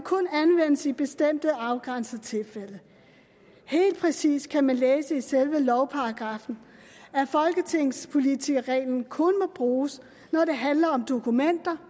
anvendes i bestemte afgrænsede tilfælde helt præcis kan man læse i selve lovparagraffen at folketingspolitikerreglen kun må bruges når det handler om dokumenter